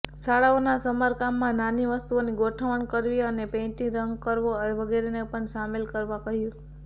શાળાઓના સમારકામમાં નાની વસ્તુઓની ગોઠવણ કરવી અને પેઇન્ટ રંગ કરવો વગેરેને પણ શામેલ કરવા કહ્યું